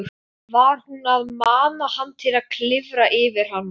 Var hún að mana hann til að klifra yfir hana?